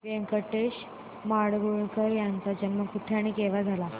व्यंकटेश माडगूळकर यांचा जन्म कुठे आणि केव्हा झाला